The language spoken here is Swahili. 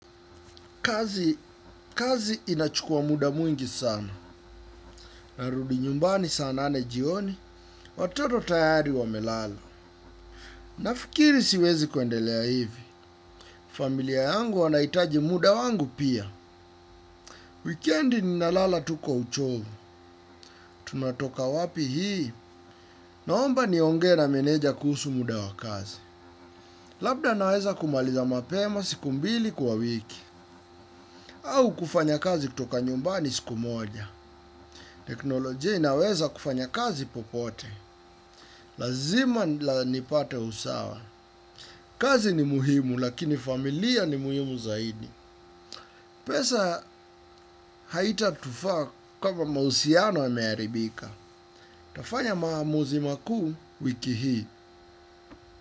Kazi, kazi inachukua muda mwingi sana. Narudi nyumbani saa nane jioni, watoto tayari wamelala. Nafikiri siwezi kwendelea hivi. Familia yangu wanaitaji muda wangu pia. Wikendi ni lnalala tu kwa uchovu. Tunatoka wapi hii. Naomba niongee na meneja kuhusu muda wa kazi. Labda naweza kumaliza mapema siku mbili kwa wiki. Au kufanya kazi kutoka nyumbani siku moja. Teknolojia inaweza kufanya kazi popote. Lazima nipate usawa. Kazi ni muhimu lakini familia ni muhimu zaidi. Pesa haitatufaa kama mahusiano yameharibika. Tafanya maamuzi makuu wiki hii.